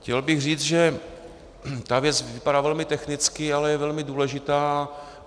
Chtěl bych říci, že ta věc vypadá velmi technicky, ale je velmi důležitá.